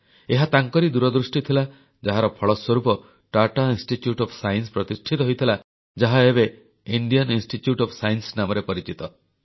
ଏହା ତାଙ୍କରି ଦୂରଦୃଷ୍ଟି ଥିଲା ଯାହାର ଫଳସ୍ୱରୂପ ଟାଟା ଇନଷ୍ଟିଚ୍ୟୁଟ୍ ଓଏଫ୍ ସାଇନ୍ସ ପ୍ରତିଷ୍ଠିତ ହୋଇଥିଲା ଯାହା ଏବେ ଇଣ୍ଡିଆନ୍ ଇନଷ୍ଟିଚ୍ୟୁଟ୍ ଓଏଫ୍ ସାଇନ୍ସ ନାମରେ ପରିଚିତ